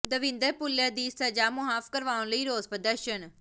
ਦਵਿੰਦਰ ਭੁੱਲਰ ਦੀ ਸਜ਼ਾ ਮੁਆਫ਼ ਕਰਵਾਉਣ ਲਈ ਰੋਸ ਪ੍ਰਦਰਸ਼ਨ